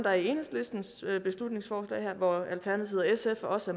er i enhedslistens beslutningsforslag her hvor alternativet og sf også